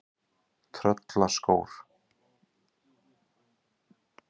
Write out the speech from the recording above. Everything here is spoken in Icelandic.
Tröllakór